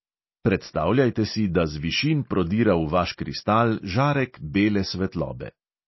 Predstavljajte si, da z višin prodira v vaš kristal žarek bele svetlobe.